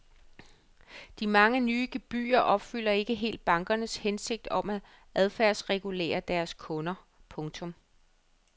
De mange nye gebyrer opfylder ikke helt bankernes hensigt om at adfærdsregulere deres kunder. punktum